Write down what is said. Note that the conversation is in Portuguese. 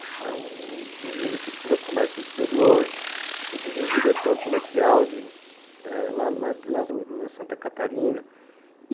Um um menino que estuda comércio exterior, filho de de um diretor comercial lá lá de Santa Catarina.